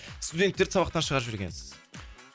студенттерді сабақтан шығарып жібергенсіз